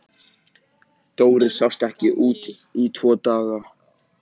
Dóri sást ekki úti í tvo daga.